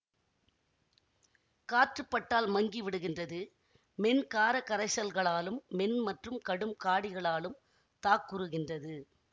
காற்று பட்டால் மங்கி விடுகின்றது மென் காரக் கரைசல்களாலும் மென் மற்றும் கடும் காடிகளாலும் தாக்குறுகின்றது